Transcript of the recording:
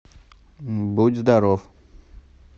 будь здоров